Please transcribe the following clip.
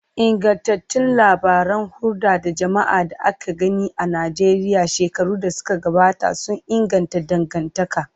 Ingantattun labaran hulda da jama'a da aka gina a Najeriya shekaru da suka gabata sun inganta dangantaka.